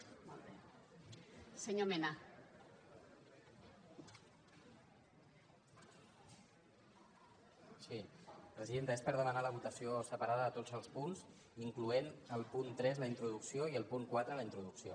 sí presidenta és per demanar la votació separada de tots els punts incloent·hi el punt tres la introducció i el punt quatre la introducció